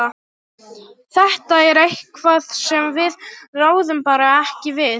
Þetta er eitthvað sem við ráðum bara ekki við.